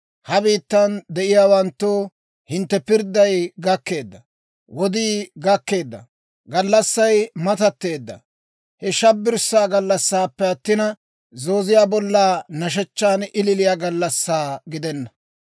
Ha biittan de'iyaawanttoo, hintte pirdday gakkeedda; wodii gakkeedda; gallassay matatteedda! Hewe shabbirssaa gallassaappe attina, zooziyaa bollan nashshechchan ililiya gallassaa gidenna.